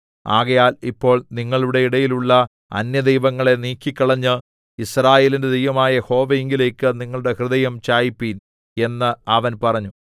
ആകയാൽ ഇപ്പോൾ നിങ്ങളുടെ ഇടയിലുള്ള അന്യദൈവങ്ങളെ നീക്കിക്കളഞ്ഞ് യിസ്രായേലിന്റെ ദൈവമായ യഹോവയിങ്കലേക്ക് നിങ്ങളുടെ ഹൃദയം ചായിപ്പീൻ എന്ന് അവൻ പറഞ്ഞു